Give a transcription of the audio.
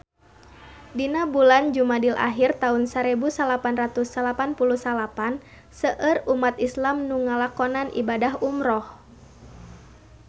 Dina bulan Jumadil ahir taun sarebu salapan ratus salapan puluh salapan seueur umat islam nu ngalakonan ibadah umrah